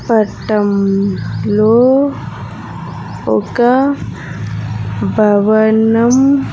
పట్టం లో ఒక భవనం.